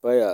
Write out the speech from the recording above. paya